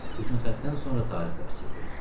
Hüsnüxətdən sonra tarix dərsi idi.